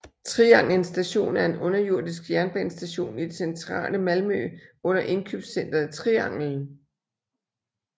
Triangelns Station er en underjordisk jernbanestation i det centrale Malmø under indkøbscenteret Triangeln